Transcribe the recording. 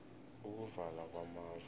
ukuvala kwamafu